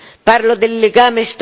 Non li hanno impediti.